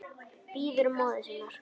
Bíður móður sinnar.